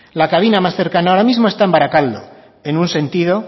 la cabina más cercana ahora mismo está en barakaldo en un sentido